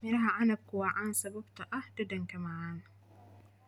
Midhaha canabka waa caan sababtoo ah dhadhanka macaan.